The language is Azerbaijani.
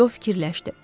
Co fikirləşdi.